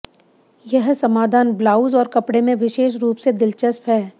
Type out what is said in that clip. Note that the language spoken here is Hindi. यह समाधान ब्लाउज और कपड़े में विशेष रूप से दिलचस्प है